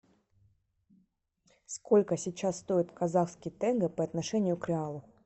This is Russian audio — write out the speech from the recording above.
сколько сейчас стоит казахский тенге по отношению к реалу